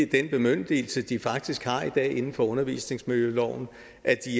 den bemyndigelse de faktisk har i dag inden for undervisningsmiljøloven